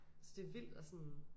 Så det vildt at sådan